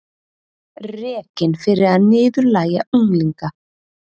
Rekinn fyrir að niðurlægja unglinga